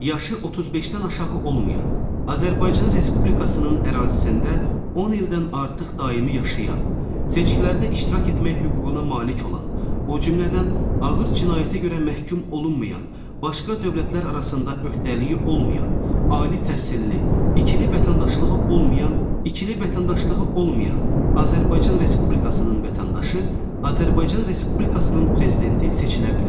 Yaşı 35-dən aşağı olmayan, Azərbaycan Respublikasının ərazisində 10 ildən artıq daimi yaşayan, seçkilərdə iştirak etmək hüququna malik olan, o cümlədən ağır cinayətə görə məhkum olunmayan, başqa dövlətlər arasında öhdəliyi olmayan, ali təhsilli, ikili vətəndaşlığı olmayan, ikili vətəndaşlığı olmayan Azərbaycan Respublikasının vətəndaşı Azərbaycan Respublikasının Prezidenti seçilə bilər.